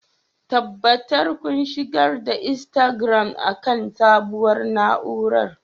tabbatar kun shigar da Instagram akan sabuwar na'urar